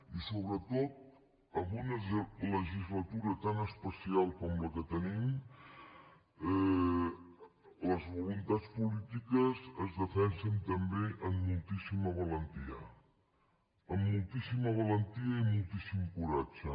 i sobretot en una legislatura tan especial com la que tenim les voluntats polítiques es defensen també amb moltíssima valentia amb moltíssima valentia i moltíssim coratge